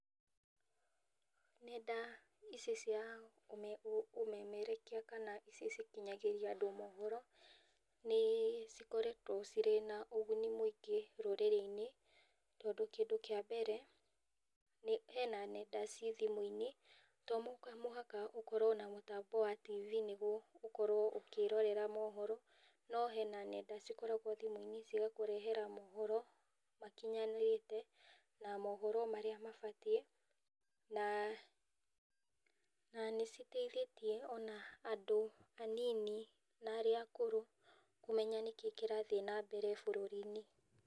Nenda ici cia ũmemerekia kana ici cikinyagĩria andũ mohoro nĩ cikoretwo cirĩ na ũguni mũingĩ rũrĩrĩ-inĩ tondũ kĩndũ kĩa mbere hena nenda ciĩ thimũ-inĩ tomũhaka ũkorwo na mũtambo wa TV nĩguo ũkorwo ũkĩrorera mohoro no hena nenda cikoragwo thimũ-inĩ cigakũrehera mohoro makinyanĩrĩte na mohoro marĩa mabatie na, na nĩciteithĩtie andũ anini ona arĩa akũrũ kũmenya nĩkĩ kĩrathiĩ na mbere bũrũri-inĩ.